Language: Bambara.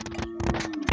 Sanunɛgɛnin yo wa